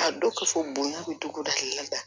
A dɔn ka fɔ bonya bɛ dugu dɔ hakili la